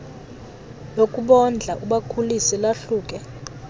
lokubondla ubakhulise lahluke